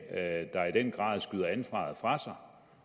der i den grad skyder ansvaret fra sig